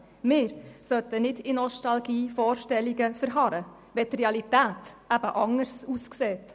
Wir sollten nicht in nostalgischen Vorstellungen verharren, wenn die Realität anders aussieht.